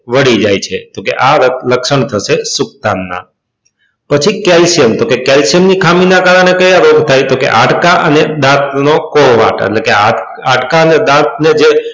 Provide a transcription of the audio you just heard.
વળી જાય છે તો કે આ લક્ષણ થશે સુક્તંક નાં પછી calcium તો કે calcium ની ખામી ના કારણે કયા રોગ થાય તો કે હાડકા અને દાંત નો એટલે કે હાડકા અને દાંત નો જે